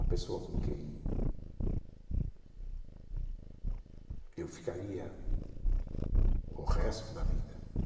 a pessoa com quem eu ficaria o resto da vida.